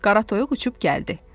Qara toyuq uçub gəldi.